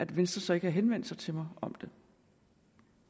venstre så ikke henvendt sig til mig om